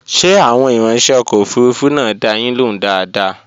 Ṣé àwọn ìrańṣẹ́ ọkọ̀ òfurufú náà dá a yín lóhùn dáadáa?